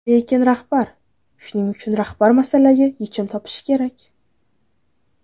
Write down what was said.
Lekin rahbar shuning uchun rahbar masalaga yechim topishi kerak.